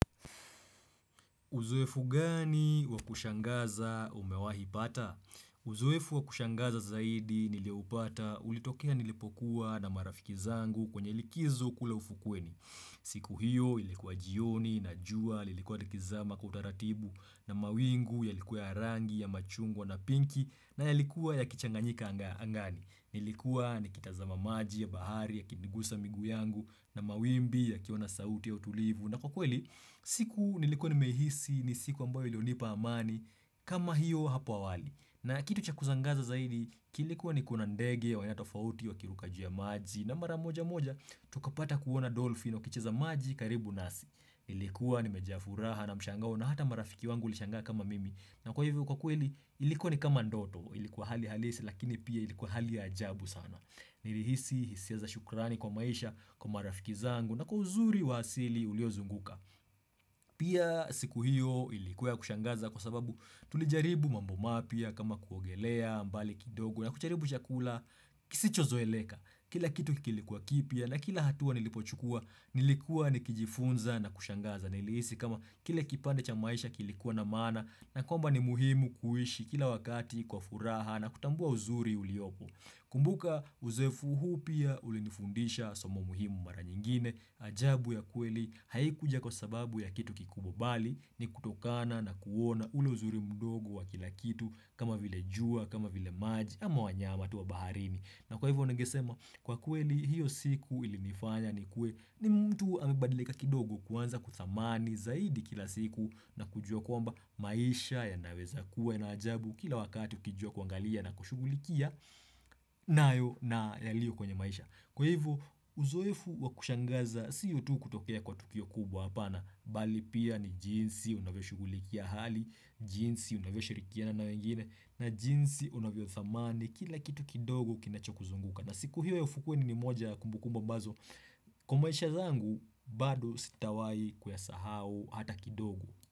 Uzoefu gani wakushangaza umewahi pata? Uzoefu wakushangaza zaidi nilio upata ulitokea nilipokuwa na marafiki zangu kwenye likizo kula ufukweni. Siku hiyo ilikuwa jioni na jua lilikuwa likizama kwa utaratibu na mawingu yalikuwa harangi ya machungwa na pinki na yalikuwa ya kichanganyika angani. Nilikuwa ni kitazama maji ya bahari ya kinigusa miguu yangu na mawimbi ya kiwa na sauti ya utulivu na kwa kweli, siku nilikuwa nimiehisi ni siku ambayo ilionipa amani kama hiyo hapa awali na kitu chakuzangaza zaidi, kilikuwa ni kuna ndege ya wanatofauti wakiruka juu ya maji na maramoja moja, tukapata kuwana dolfin na wakicheza maji karibu nasi nilikuwa nimejaa furaha na mshangaona hata marafiki wangu lishangaa kama mimi na kwa hivyo kwa kweli ilikuwa ni kama ndoto ilikuwa hali halisi lakini pia ilikuwa hali ajabu sana. Nilihisi hisia za shukurani kwa maisha kwa marafiki zangu na kwa uzuri wa asili uliozunguka. Pia siku hiyo ilikuwa ya kushangaza kwa sababu tulijaribu mambo mapya kama kuogelea mbali kidogo na kucharibu chakula kisicho zoeleka. Kila kitu kilikuwa kipya na kila hatua nilipochukua nilikuwa nikijifunza na kushangaza. Nilihisi kama kile kipande cha maisha kilikuwa na maana na kwamba ni muhimu kuishi kila wakati kwa furaha na kutambua uzuri uliopo. Kumbuka uzefu huu pia ulinifundisha somo muhimu mara nyingine ajabu ya kweli haikuja kwa sababu ya kitu kikubwa bali ni kutokana na kuona ule uzuri mdogo wa kila kitu kama vile jua kama vile maji ama wanyama tu wa baharini. Na kwa hivyo ningesema kwa kweli hiyo siku ilinifanya nikuwe ni mtu amebadilika kidogo kwanza kuthamani zaidi kila siku na kujua komba maisha ya naweza kuwa na ajabu kila wakati ukijua kuangalia na kushugulikia nayo na yalio kwenye maisha. Kwa hivyo, uzoefu wakushangaza, sio tu kutokea kwa tukio kubwa hapana, bali pia ni jinsi unavyo shugulikia hali, jinsi unavyo shirikiana na wengine, na jinsi unavyo thamani, kila kitu kidogo kinacho kuzunguka. Na siku hivyo ya ufukweni ni moja kumbukumba bazo, kwa maisha zangu, baado sitawai kuyasahau hata kidogo.